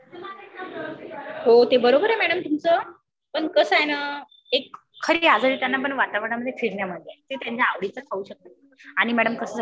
हो त बरोबर आहे मॅडम तुमचं पण कास आहे ना पण एक आवड त्यांना वातावरणामध्ये फिरण्यामध आहे. आणि ते आवडीने खाऊ शकतात. आणि मॅडम कास झालेलं आहे.